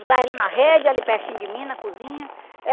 Botava ele na rede, ali pertinho de mim, na cozinha.